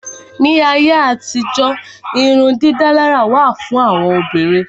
Ní ayé àtijó irun dídálárà wà fún àwọn Obìnrin.